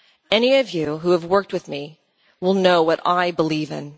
Any of you who have worked with me will know what I believe in.